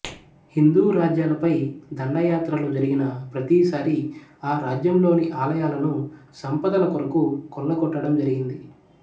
హిందూరాజ్యాలపై దండయాత్రలు జరిగిన ప్రతీసారీ ఆ రాజ్యంలోని ఆలయాలను సంపదలకొరకు కొల్లకొట్టటం జరిగింది